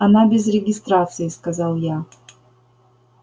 она без регистрации сказал я